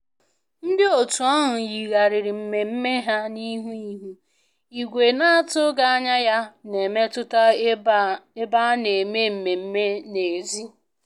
Ndị otu ahụ yigharịrị mmemme ha n'ihi ihu igwe na-atụghị anya ya na-emetụta ebe a na-eme mmemme n'èzí